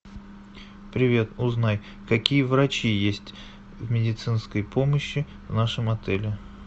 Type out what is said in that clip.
привет узнай какие врачи есть в медицинской помощи в нашем отеле